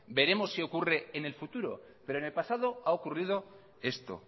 veremos si ocurre en el futuro pero en el pasado ha ocurrido esto